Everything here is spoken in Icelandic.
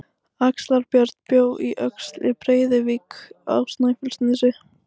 Axlar-Björn bjó á Öxl í Breiðuvík á Snæfellsnesi.